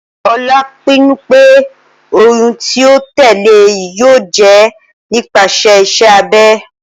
Ola pinnu pe oyun ti o tẹle yoo jẹ nipasẹ iṣẹ abẹ.